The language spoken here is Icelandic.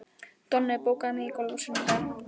Donni, bókaðu hring í golf á sunnudaginn.